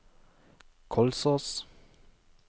Kolsås